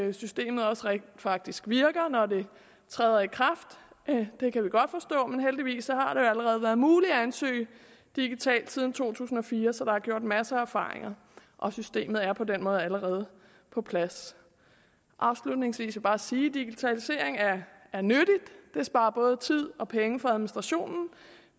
at systemet også rent faktisk virker når det træder i kraft det kan vi godt forstå men heldigvis har det allerede været muligt at ansøge digitalt siden to tusind og fire så der er gjort masser af erfaringer og systemet er på den måde allerede på plads afslutningsvis vil jeg bare sige at digitalisering er nyttig og det sparer både tid og penge for administrationen